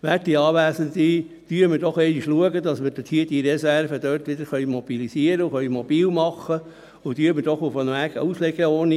Werte Anwesende, schauen wir doch einmal, dass wir diese Reserve dort wieder mobilisieren und mobilmachen können, und machen wir doch eine Art Auslegeordnung.